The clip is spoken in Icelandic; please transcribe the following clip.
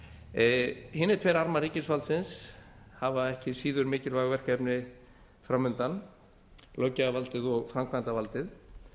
það hinir tveir armar ríkisvaldsins hafa ekki síður mikilvæg verkefni fram undan löggjafarvaldið og framkvæmdarvaldið